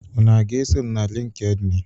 Unu aga-eso m na LịnkedỊnị?